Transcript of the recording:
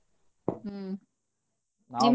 ಹ್ಮ್ ನಿಮ್ದ ಯಾವೂರಿ?